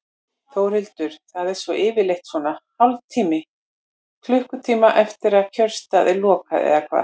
Þórhildur: Það er svona yfirleitt svona hálftíma, klukkutíma eftir að kjörstað er lokað eða hvað?